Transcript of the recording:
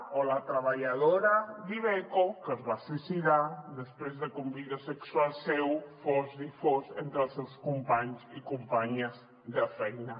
o la treballadora d’iveco que es va suïcidar després de que un vídeo sexual seu fos difós entre els seus companys i companyes de feina